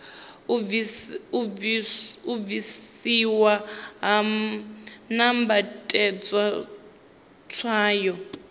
u bvisiwa ha nambatedzwa tswayo